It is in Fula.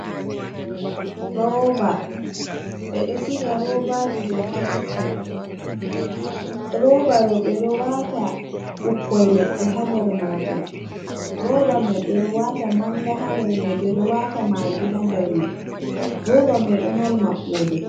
Rooba: Ɓeɗo siga roobaji ɗo ha kicin, rooba ɗo bedo wata ɓukkoi leɗɗe e ha nder majum, rooba mai ɓeɗo wata manda ha nder mai, ɓeɗo wata maggi ha nder mai, rooba mai do mari maɓɓode.